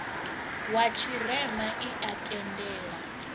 wa tshirema i a tendela